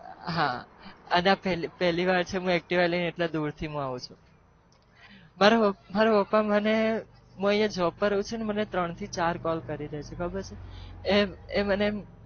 હા હું પેલી વાર છે ક હું એટલી દુર આવું છુ